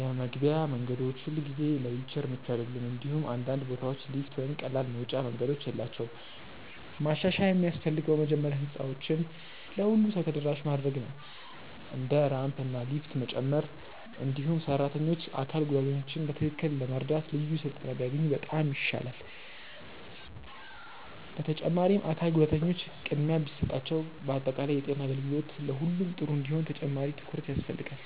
የመግቢያ መንገዶች ሁልጊዜ ለዊልቸር ምቹ አይደሉም፣ እንዲሁም አንዳንድ ቦታዎች ሊፍት ወይም ቀላል መውጫ መንገዶች የላቸውም። ማሻሻያ የሚያስፈልገው መጀመሪያ ህንፃዎችን ለሁሉም ሰው ተደራሽ ማድረግ ነው፣ እንደ ራምፕ እና ሊፍት መጨመር። እንዲሁም ሰራተኞች አካል ጉዳተኞችን በትክክል ለመርዳት ልዩ ስልጠና ቢያገኙ በጣም ይሻላል። በተጨማሪም አካል ጉዳተኞች ቅድሚያ ቢሰጣቸው በአጠቃላይ የጤና አገልግሎት ለሁሉም ጥሩ እንዲሆን ተጨማሪ ትኩረት ያስፈልጋል።